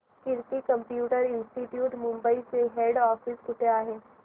कीर्ती computer institute Mumbai चे head office कुठे आहे